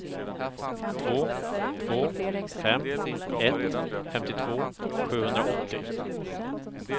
två två fem ett femtiotvå sjuhundraåttio